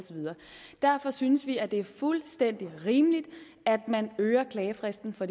derfor synes vi det er fuldstændig rimeligt at man øger klagefristen fra